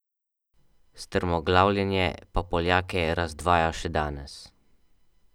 Strmoglavljenje pa Poljake razdvaja še danes.